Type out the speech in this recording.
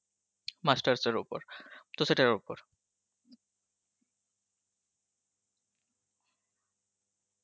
masters এর ওপর তো সেটার ওপর .